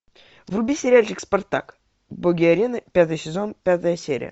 вруби сериальчик спартак боги арены пятый сезон пятая серия